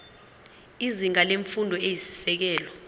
izinga lemfundo eyisisekelo